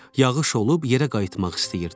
Yağış olub yerə qayıtmaq istəyirdik.